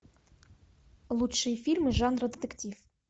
лучшие фильмы жанра детектив